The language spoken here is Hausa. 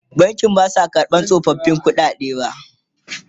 bankin Basu karɓa tsofaffin ƙuɗaden ba